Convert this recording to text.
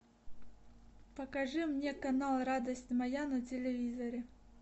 покажи мне канал радость моя на телевизоре